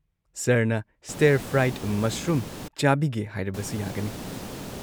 ꯁꯔꯅ stir fried ꯃꯁꯔꯨꯝ ꯆꯥꯕꯤꯒꯦ ꯍꯥꯏꯔꯕꯁꯨ ꯌꯥꯒꯅꯤ꯫